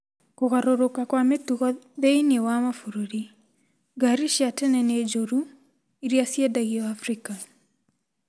Kũgarũrũka kwa mĩtugo thĩinĩ wa mabũrũri: 'Ngari cia tene nĩ njũru' iria ciendagio Afrika